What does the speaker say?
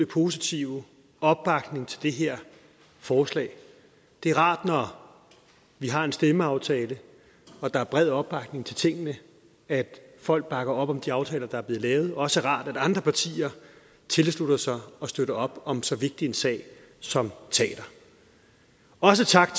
positive opbakning til det her forslag det er rart når vi har en stemmeaftale og der er bred opbakning til tingene at folk bakker op om de aftaler der er blevet lavet og også rart at andre partier tilslutter sig og støtter op om så vigtig en sag som teater også tak